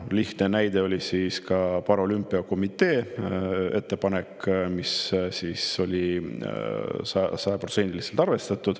Lihtne näide on paralümpiakomitee ettepanek, mida sajaprotsendiliselt arvestati.